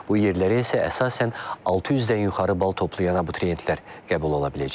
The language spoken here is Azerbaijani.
Bu yerləri isə əsasən 600-dən yuxarı bal toplayan abituriyentlər qəbul ola biləcək.